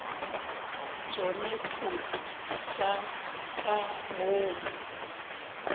tšona dikotsi tša ka boomo